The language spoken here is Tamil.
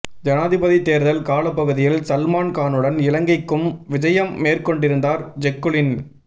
ஜனாதிபதித் தேர்தல் காலப்பகுதியில் சல்மான் கானுடன் இலங்கைக்கும் விஜயம் மேற்கொண்டிருந்தார் ஜெக்குலின்